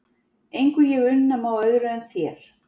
Engu ég unna má öðru en þér.